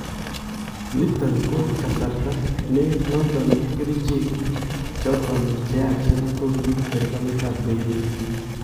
Niton ko kasarta ne noton kericheek choton che yachen kokiiib serikaliit ab Beirut.